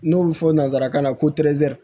N'o bɛ fɔ nanzarakan na ko